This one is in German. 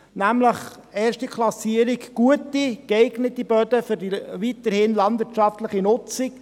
Die erste Klassierung betrifft gute und geeignete Böden für die weiterhin landwirtschaftliche Nutzung.